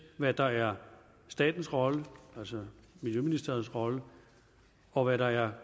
hvad der er statens rolle altså miljøministerens rolle og hvad der er